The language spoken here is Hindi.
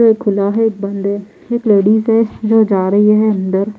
एक खुला है एक बंद है एक लेडीज है जो जा रही है अंदर।